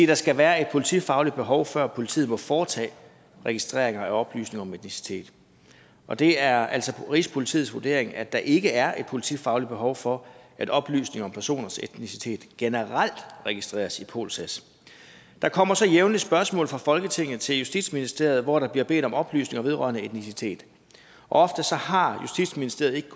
der skal være et politifagligt behov før politiet må foretage registrering af oplysninger om etnicitet og det er altså rigspolitiets vurdering at der ikke er et politifagligt behov for at oplysninger om personers etnicitet generelt registreres i polsas der kommer så jævnligt spørgsmål fra folketinget til justitsministeriet hvor der bliver bedt om oplysninger vedrørende etnicitet ofte har justitsministeriet ikke